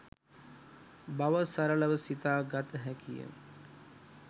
බව සරලව සිතා ගත හැකි ය.